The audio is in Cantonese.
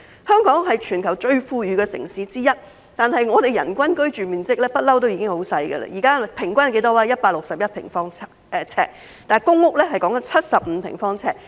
香港是全球最富裕的城市之一，但我們的人均居住面積一向很小，現在的人均居住面積是161平方呎，而公屋的人均居住面積則是75平方呎。